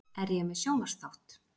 Er ég með sjónvarpsþátt?